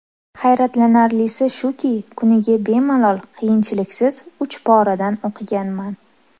Hayratlanarlisi shuki, kuniga bemalol, qiyinchiliksiz uch poradan o‘qiganman.